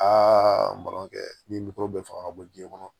nimoro bɛ fanga ka bɔ diɲɛ kɔnɔ